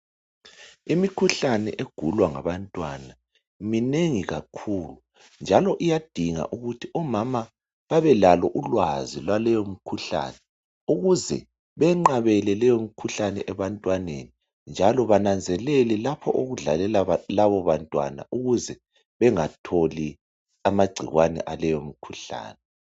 Imikhuhlane egulwa ngabantwana minengi kakhulu njalo iyadinga ukuthi omama babelalo ulwazi lwaleyo mkhuhlane ukuze benqabele leyo mkhuhlane ebantwaneni njalo bananzelele lapho okudlalela labo bantwana ukuze bengatholi amagcikwane aleyo mkhuhlane.